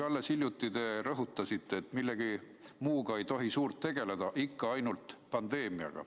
Alles hiljuti te rõhutasite, et millegi muuga ei tohi suurt tegeleda, ikka ainult pandeemiaga.